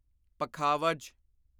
ਪਖਾਵਜ